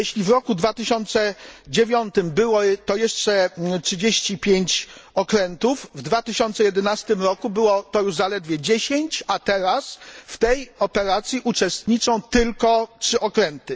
Jeśli w roku 2009 było to jeszcze 35 okrętów, w 2011 roku było to już zaledwie 10, a teraz w tej operacji uczestniczą tylko 3 okręty.